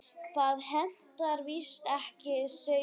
Það hentar víst ekki sauðfé.